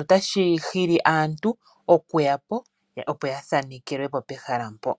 Otashi hili aantu okuyapo , opo yathanekelwepo pehala mpo.